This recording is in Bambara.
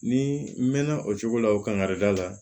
Ni n mɛn na o cogo la o kan ka da la